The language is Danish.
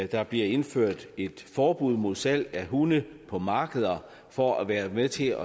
der bliver indført et forbud mod salg af hunde på markeder for at være med til